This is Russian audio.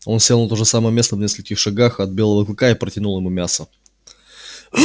он сел на то же самое место в нескольких шагах от белого клыка и протянул ему мясо